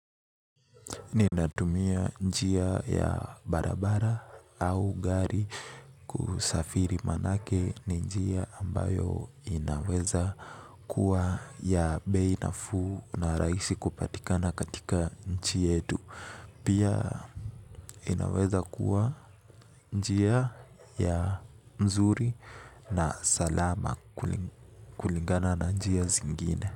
Ninatumia njia ya barabara au gari kusafiri maanake ni njia ambayo inaweza kuwa ya bei nafuu na rahisi kupatikana katika nchi yetu. Pia inaweza kuwa njia ya mzuri na salama kulingana na njia zingine.